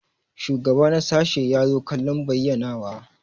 Shugaba na sashi ya zo kallon bayyanawa.